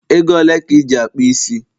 Ego ole ka Iji akpu isi?